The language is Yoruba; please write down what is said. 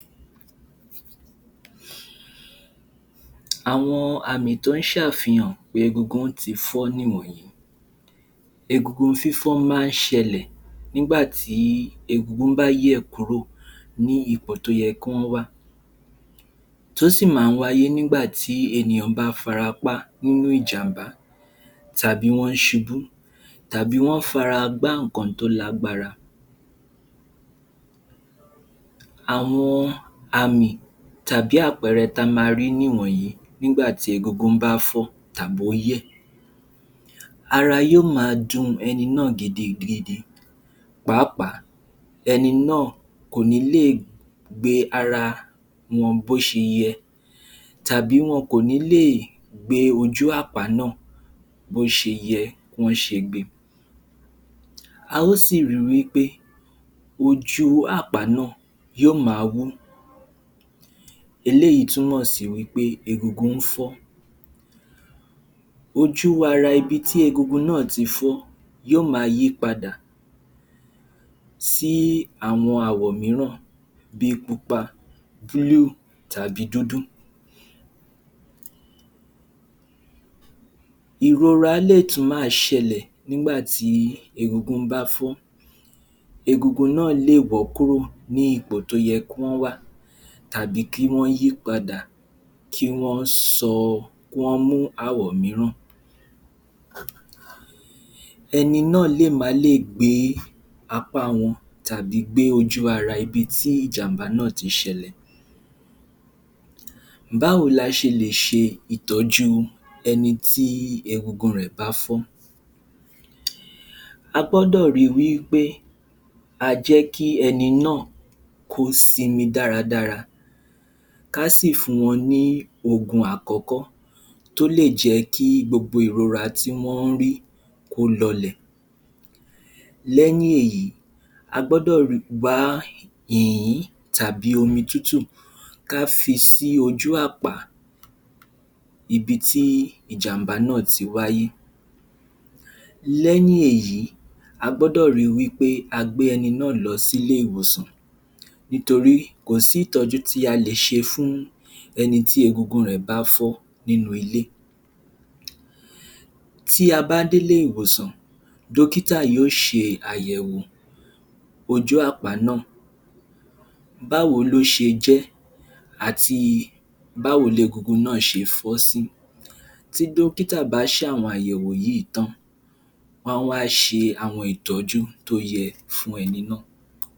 Àwọn àmì tó ń ṣàfihàn pé egungun ti fọ́ ni wọ̀nyí. Egungun fífọ́ máa ń ṣẹlẹ̀ nígbàtí egungun bá yẹ̀ kúrò ní ipò tóye kán wà. Tó sì máa ń wáyé nígbàtí ènìyàn bá farapá nínú ìjàmbá tàbí wọn ṣubú tàbí wọn fara gbá nǹkan tó lágbára. Àwọn àmì tàbí àpẹẹrẹ ta ma rí ni wọ̀nyí nígbàtí egungun bá fọ́ tàbóyẹ̀. Ara yóò ma dun ẹni náà gidigidi. Pàápàá ẹni náà kò ní lè gbé ara wọn bóṣe yẹ tàbí wọn kò nílè gbé ojú-àpá náà bóṣe yẹ kí wọ́n ṣe gbe. A ó sì ri wí pé ojú-àpá náà yóò ma wú. Eléyìí túmọ̀ sí wí pé egungun fọ́. Ojú-ara ibi tí egungun náà ti fọ́ yóò máa yípadà sí àwọn àwọ̀ mìíràn bí i pupa, tàbí dúdú. Ìrora lè tún ma ṣẹlẹ̀ nígbàtí egungun bá fọ́. Egungun náà lè wọ́ kúrò ní ipò tó yẹ kíwọ́n wà tàbí kí wọ́n yípadà, kí wọ́n sọ, kí wọ́n mú àwọ̀ mìíràn. Ẹni náà má lè gbé apá wọn tàbí gbé ojú-ara ibi tí ìjàmbá náà ti ṣẹlẹ̀. Báwo la ṣe lè ṣe ìtọ́jú ẹnití egungun rẹ̀ bá fọ́? A gbọ́dọ̀ ri wípé a jẹ́kí ẹni náà ko sinmi dáradára, ká sì fún wọn ni ògùn àkọ́kọ́ tó lè jẹ́kí gbogbo ìrora tí wọ́n ń rí kó lọlẹ̀. Lẹ́yìn èyí, a gbọ́dọ̀ wá ìyín tàbí omi tútù ká fi sí ojú-àpá ibi tí ìjàmbá náà ti wáyé. Lẹ́yìn èyí a gbọ́dọ̀ ri wí pé a gbé ẹni náà lọ sí ilé-ìwòsàn nítorí kò sí ìtọ́jú tí a lè ṣe fún ẹnití egungun rẹ̀ bá fọ́ nínú ilé. Tí a bá dé ilé-ìwòsàn, dọ́kítà yóò ṣe àyẹ̀wò ojú-àpá náà. Báwo ló ṣe jẹ́ àti báwo legungun náà ṣe fọ́ sí. Tí dọ́kítà bá ṣàwọn àyẹ̀wò yìí tán, wọ́n á wá ṣe àwọn ìtọ́jú tó yẹ fún ẹni náà.